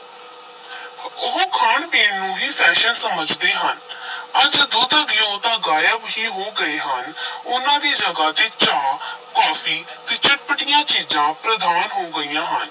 ਉਹ ਖਾਣ-ਪੀਣ ਨੂੰ ਹੀ fashion ਸਮਝਦੇ ਹਨ ਅੱਜ ਦੁੱਧ-ਘਿਉ ਤਾਂ ਗਾਇਬ ਹੀ ਹੋ ਗਏ ਹਨ ਉਨ੍ਹਾਂ ਦੀ ਜਗ੍ਹਾ ਤੇ ਚਾਹ ਕਾਫ਼ੀ ਤੇ ਚੱਟਪਟੀਆਂ ਚੀਜ਼ਾਂ ਪ੍ਰਧਾਨ ਹੋ ਗਈਆਂ ਹਨ।